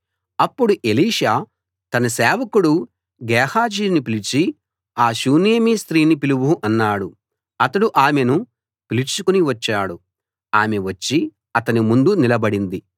అప్పుడు ఎలీషా తన సేవకుడు గేహజీని పిలిచి ఆ షూనేమీ స్త్రీని పిలువు అన్నాడు అతడు ఆమెను పిలుచుకు వచ్చాడు ఆమె వచ్చి అతని ముందు నిలబడింది